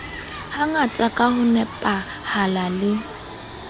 hangata ka ho nepahala le